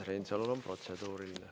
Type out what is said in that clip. Urmas Reinsalul on protseduuriline.